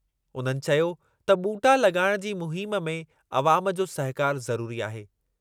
उन्हनि चयो त ॿूटा लॻाइणु जी मुहिम में अवामु जो सहकारु ज़रुरी आहे।